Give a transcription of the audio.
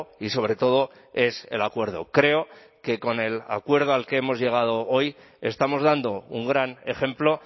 y sobre todo es el acuerdo creo que con el acuerdo al que hemos llegado hoy estamos dando un gran ejemplo